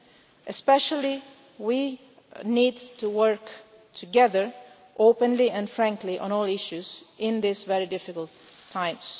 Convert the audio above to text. We need especially to work together, openly and frankly, on all issues in these very difficult times.